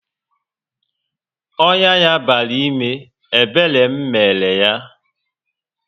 Ọnyá ya bara ime, ebere m mere yá